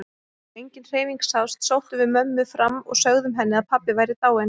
Þegar engin hreyfing sást sóttum við mömmu fram og sögðum henni að pabbi væri dáinn.